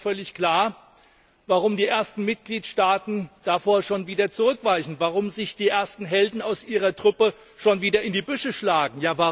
Aber mir ist auch völlig klar, warum die ersten Mitgliedstaaten davor schon wieder zurückweichen, warum sich die ersten Helden aus ihrer Truppe schon wieder in die Büsche schlagen.